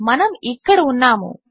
మనము ఇక్కడ ఉన్నాము